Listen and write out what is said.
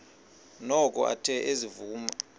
noko athe ezivuma